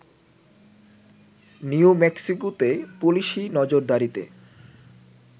new মেক্সিকোতে পুলিশি নজরদারিতে